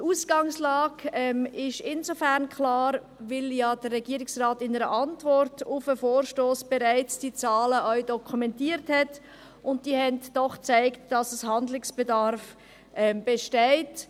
Die Ausgangslage ist insofern klar, als der Regierungsrat in seiner Antwort auf den Vorstoss bereits die Zahlen dokumentiert hat, und diese zeigen, dass Handlungsbedarf besteht.